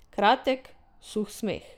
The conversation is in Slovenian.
Kratek, suh smeh.